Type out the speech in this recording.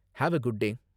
Have a good day!